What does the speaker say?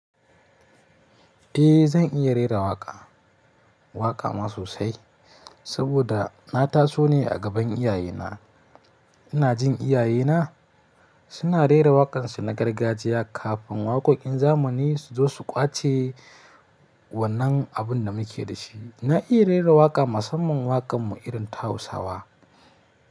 Eh zan iya rera waƙa, waƙa ma sosai saboda na taso ne a gaban iyaye na. Ina jin iya yena suna rera waƙansu na gargajiya kafin waƙoƙin zamani suzo su kwace wannan abun da muke da shi. Na iya rera waƙa musamman waƙanmu irin ta hausawa.